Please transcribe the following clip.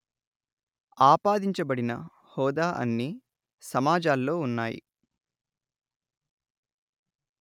ఆపాదించబడిన హోదా అన్ని సమాజాల్లో ఉన్నాయి